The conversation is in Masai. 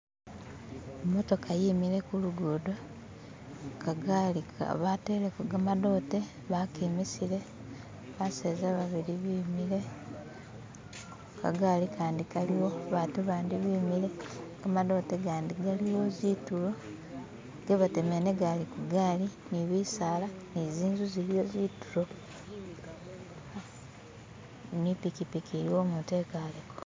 imotoka yemile kulugudo kagaali bateleko gamadote bakemisile baseza babili bemile kagaali kandi kaliwo batu bandi bemile gamadote gandi galiwo zitulo gebatemele negali kugaali nibisaala nizinzu ziliwo zitulo nipikipiki iliwo umutu ekaleko